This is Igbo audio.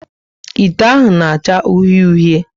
Ite ahụ na acha uhie uhie